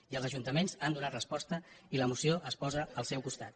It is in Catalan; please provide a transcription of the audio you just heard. i els ajuntaments hi han donat resposta i la moció es posa al seu costat